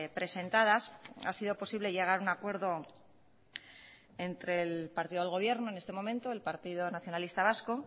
presentadas ha sido posible llegar a un acuerdo entre el partido del gobierno en este momento el partido nacionalista vasco